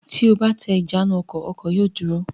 Tí o bá tẹ ìjánu-ọkọ̀, ọkọ̀ yóò dúró.